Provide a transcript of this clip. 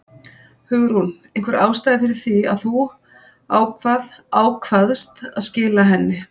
Hugrún: Einhver ástæða fyrir því að þú ákvað, ákvaðst að skila henni?